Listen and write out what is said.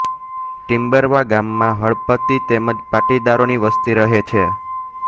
ટિમ્બરવા ગામમાં હળપતિ તેમ જ પાટીદારોની વસ્તી રહે છે